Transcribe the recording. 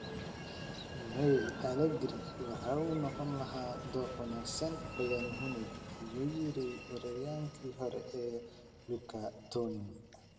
(Mail) Allegri waxa uu u noqon lahaa dooq wanaagsan Bayern Munich, ayuu yiri weeraryahankii hore ee Luca Toni.